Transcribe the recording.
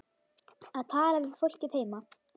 Að tala við fólkið heima.